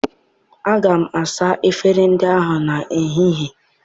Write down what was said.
Aga m asa efere ndị ahụ n'ehihie.